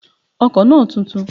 The car is new